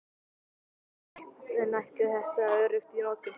Auðvelt en ætli þetta sé öruggt í notkun?